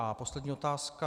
A poslední otázka.